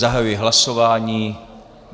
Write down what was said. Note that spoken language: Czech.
Zahajuji hlasování.